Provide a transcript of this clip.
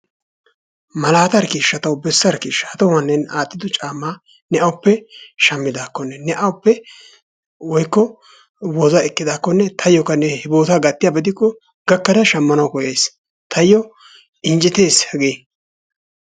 malatarkkisha taw bessarkkisha ha tohuwan ne aattido caamma ne awuppe shammidakkonne ne awuppe woykko wozaa ekkidaakko taayyookka ne he bootta gattiyaaba gidikko gakkada shammana koyayis, tayyo injjettees hagee.